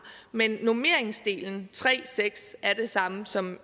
men normeringsdelen tre og seks er den samme som